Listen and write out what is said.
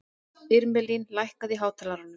Irmelín, lækkaðu í hátalaranum.